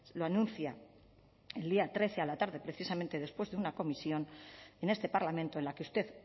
lo anuncia el día trece a la tarde precisamente después de una comisión en este parlamento en la que usted